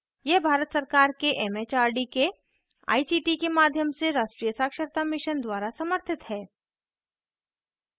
यह भारत सरकार के एमएचआरडी के आईसीटी के माध्यम से राष्ट्रीय साक्षरता mission द्वारा समर्थित है